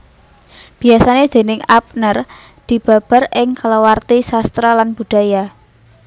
Biasané déning Ebner dibabar ing kalawarti sastra lan budaya